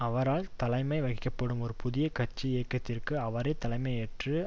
அவரால் தலைமை வகிக்கப்படும் ஒரு புதிய கட்சி இயக்கத்திற்கு அவரே தலைமையேற்று